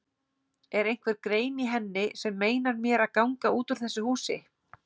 Er einhver grein í henni sem meinar mér að ganga út úr þessu húsi?